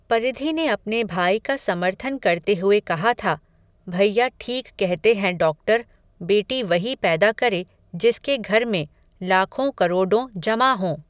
परिधि ने अपने भाई का समर्थन करते हुए कहा था, भैया, ठीक कहते हैं डॉक्टर, बेटी वही पैदा करे, जिसके घर में, लाखों करोडों जमा हों